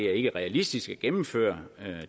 er realistisk at gennemføre